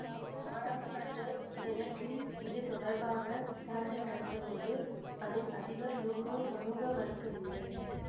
நாடாளுமன்ற செனட்டில் இதுதொடர்பாக விசாரணை நடந்த போது அதில் அதிபர் லூகோ சமூகமளிக்கவில்லை